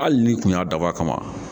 Haki ni tun y'a dab'a kama.